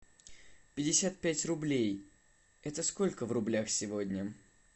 пятьдесят пять рублей это сколько в рублях сегодня